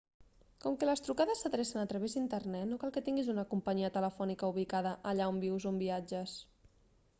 com que les trucades s'adrecen a través d'internet no cal que tinguis una companyia telefònica ubicada allà on vius o on viatges